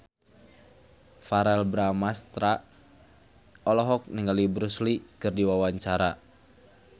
Verrell Bramastra olohok ningali Bruce Lee keur diwawancara